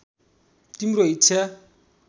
तिम्रो इच्छा